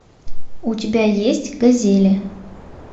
у тебя есть газели